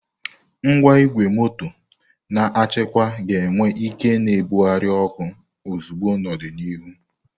Ngwa igwe moto na-achịkwa ga-enwe ike na-ebugharị oku ozugbo n'ọdịnihu.